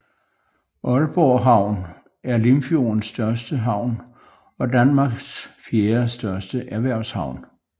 Aalborg havn er Limfjordens største havn og Danmarks fjerde største erhvervshavn